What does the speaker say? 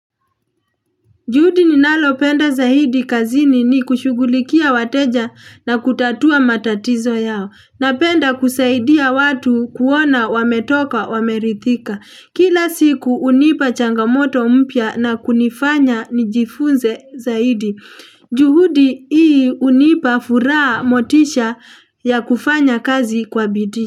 Juhudi ninayopenda zaidi kazini ni kushugulikia wateja na kutatua matatizo yao. Napenda kusaidia watu kuona wametoka wameridhika. Kila siku hunipa changamoto mpya na kunifanya nijifunze zaidi. Juhudi hii hunipa furaha, motisha ya kufanya kazi kwa bidii.